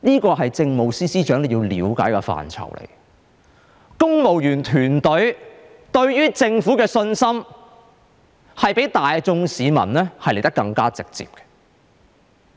這是政務司司長要了解的範疇，公務員團隊對於政府的信心較大眾市民來得更直接。